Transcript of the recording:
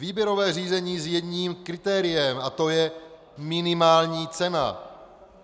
Výběrové řízení s jedním kritériem a tím je minimální cena.